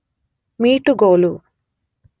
ಮೀಟುಗೋಲು